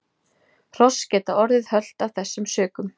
Hross geta orðið hölt af þessum sökum.